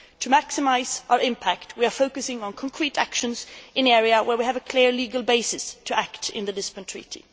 To maximise our impact, we are focusing on concrete actions in an area where we have a clear legal basis to act in the Lisbon Treaty.